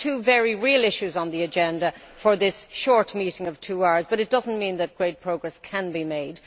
There are two very real issues on the agenda for this short meeting of two hours, but that does not mean that great progress can be made.